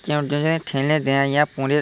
কেও যদি ঠেলে দেয় এ পরে-- ]